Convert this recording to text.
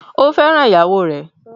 Ó fẹ́ràn ìyàwó rẹ̀?